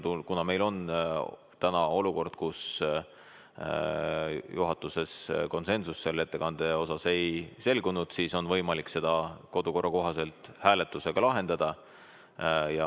Kuna meil on tekkinud olukord, et juhatus selle ettekande osas konsensusele ei jõudnud, siis on võimalik see lahendada kodukorra kohaselt hääletusega.